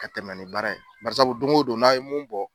Ka tɛmɛ ni baara ye, baarisabu don ko don n'a ye mun bɔ.